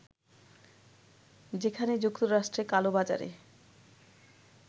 যেখানে যুক্তরাষ্ট্রে কালোবাজারে